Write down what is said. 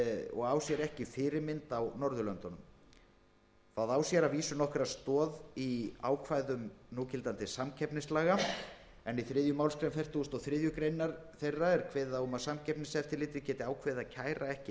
og á sér ekki fyrirmynd á norðurlöndunum það á sér þó nokkra stoð í ákvæðum samkeppnislaga en í þriðju málsgrein fertugustu og þriðju grein þeirra er kveðið á um að samkeppniseftirlitið geti ákveðið að kæra ekki